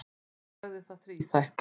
Hann sagði það þríþætt.